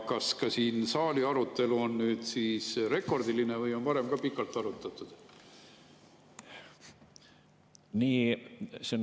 Ja kas saali arutelu on nüüd rekordiline või on varem ka pikalt arutatud?